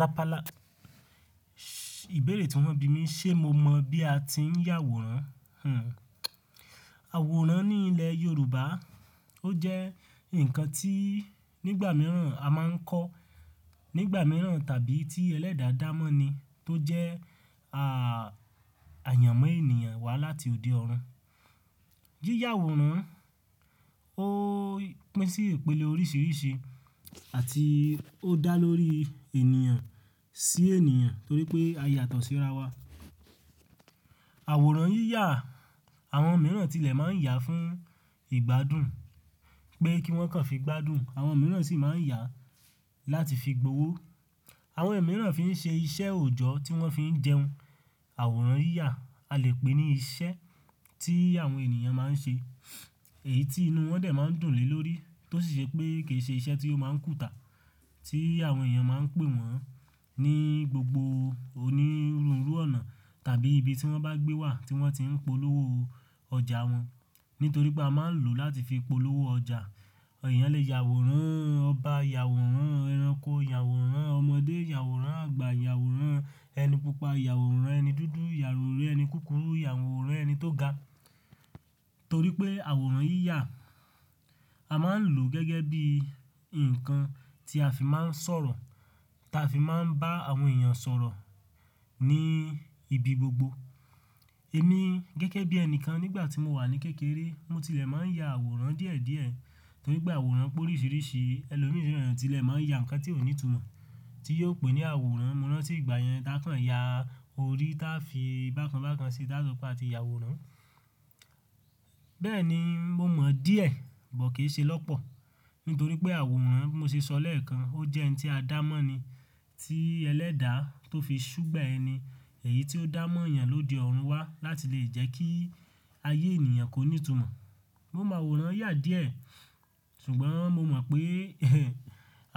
Rapala, ìbéèrè tí wọ́n bi mí, ṣe mo mọ̀ bí a ti ń yà àwòrán? Hmm, àwòrán ní ilẹ̀ yorùbá, ó jẹ́ ǹkan tii, nígbà míràn a ma nko, nígbà mìíràn tàbí tí ẹlẹ́dà dá mọ́ ni tó jẹ́, ah, àyànmọ́ ènìyàn láti òde ọ̀run. Yíyà àwòrán ó pín sí ìpele oríṣìíríṣìí àti ó dá lórí ènìyàn sí ènìyàn torí pé a yàtọ̀ sí ra wa. Àwòrán yíyà, àwọn mìíràn tilẹ̀ máa ń yà fún ìgbádùn pé kí wọ́n kàn fi gbádùn, àwọn mìíràn sì máa ń yà láti fi gbowó. Àwọn ẹ̀ mìíràn fi ń ṣe iṣẹ́ òjọ́ tí wọ́n fi ń jẹun. Àwòrán yíyà a lè pè ní iṣẹ́ tí àwọn ènìyàn máa ń ṣe èyí tí inú wọn dè máa ń dùn lé lórí tó sì ṣe pé kì í ṣe iṣẹ́ tí ó máa ń kùtà tí àwọn ènìyàn máa ń pè wọ́n ní gbogbo onírunru ọ̀nà tàbí ibi tí wọ́n bá gbé wà tí wọ́n ti ń polówó ọjà wọn. Nítorí pé a máa ń lò láti fi polówó ọjà. Ẹ̀yàn lè yà àwòrán ọba, yà àwòrán ẹranko, yà àwòrán ọmọdé, yà àwòrán àgbà, yà àwòrán ẹni pupa, yà àwòrán ẹni dúdú, yà àwòrán ẹni kúkúrú, yà àwòrán ẹni tó ga. Torí pé àwòrán yíyà a máa ń lò gẹ́gẹ́ bí ǹkan tí a fi máa ń sọ̀rọ̀, ta fi máa ń bá àwọn ènìyàn sọ̀rọ̀ ní ibi gbogbo. Èmi gẹ́gẹ́ bí ẹni kan nígbà tí mo wà ní kékeré, mo tilẹ̀ máa ń yà àwòrán díẹ̀díẹ̀ torí pé àwòrán pé oríṣìíríṣìí, ẹni òní ìfẹ́rẹ̀ẹ́ tilẹ̀ máa ń yà ǹkan tí ó ní ìtumọ̀ tí yóò pè ní àwòrán. Mo rántí ìgbà yẹn tá a kàn yà orí táa fi bákan bákan sí táa sọ pé a ti yà àwòrán. Bẹ́ẹ̀ ni, mo mọ̀ díẹ̀, bọ̀ kì í ṣe lọ́pọ̀. Nítorí pé àwòrán bí mo ṣe sọ lẹ́ẹ̀kan ó jẹ́ ẹni tí a dá mọ́ ni tí ẹlẹ́dà tó fi ṣúgbẹ̀ ẹni, èyí tí ó dáá mọ́ ènìyàn lóde ọ̀run wá láti lè jẹ́ kí ayé ènìyàn kó ní ìtumọ̀. Mo máa àwòrán yà díẹ̀, ṣùgbọ́n mo mọ̀ pé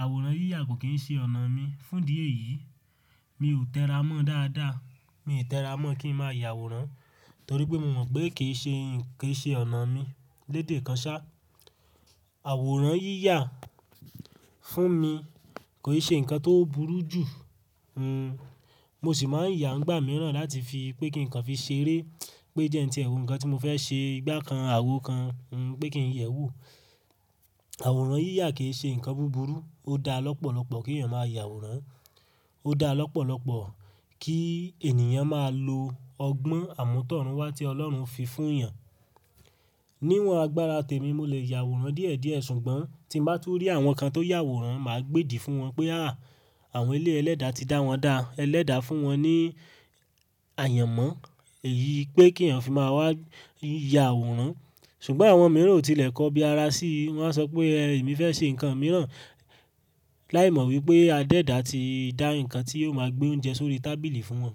àwòrán yíyà kò kì í ṣe ọ̀nà mi. Fún di èyí, mi ò tẹra mọ́ dáadáa. Mi ò tẹra mọ́ kí ń máa yà àwòrán torí pé mo mọ̀ pé kì í ṣe ì-- kì í ṣe ọ̀nà mi. Lédè kan ṣá, àwòrán yíyà fún mi kò ì ṣe ǹkan tó burú jù. Hmm. Mo sì máa ń yà nígbà mìíràn láti fi pé kí ǹkan fi ṣeré, pé jẹ́ ẹni tí ẹ̀rù ǹkan tí mo fẹ́ ṣe, ìgbà kan àwo kan, hmm, pé kí ń yẹ̀ ẹ́ wò. Àwòrán yíyà kì í ṣe ǹkan búburú, ó dá lọ́pọ̀lọ́pọ̀ kí ènìyàn máa yà àwòrán. Ó dá lọ́pọ̀lọ́pọ̀ kí ènìyàn máa lo ọgbọ́n àmútọ̀run wá tí Ọlọ́run fi fún ènìyàn. Níwọn agbára tèmi mo lè yà àwòrán díẹ̀díẹ̀ ṣùgbọ́n tí ń bá tú rí àwọn kan tó yà àwòrán màá gbédìí fún wọn pé à, àwọn eleyi ẹlẹ́dà ti dá wọn dá ẹlẹ́dà fún wọn ní àyànmọ́ èyí pé kí ẹ̀yàn fi máa wá yà àwòrán. Ṣùgbọ́n àwọn mìíràn ò tilẹ̀ kọ́ bí ara sí i, wọ́n á sọ pé ẹ, èmi fẹ́ ṣe ǹkan mìíràn láìmọ̀ wípé Adédà ti dá ǹkan tí yóò máa gbé oúnjẹ sórí tábìlì fún wọn.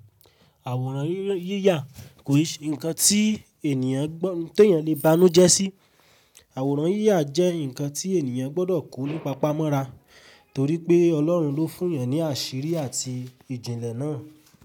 Àwòrán yíyà kò ì ṣe ǹkan tí ènìyàn gbọ́-- tó ènìyàn lè bá inú jẹ́ sí. Àwòrán yíyà jẹ́ ǹkan tí ènìyàn gbọ́dọ̀ kó nípa pamọ́ ra torí pé Ọlọ́run ló fún ènìyàn ní àṣírí àti ìjìnlẹ̀ náà.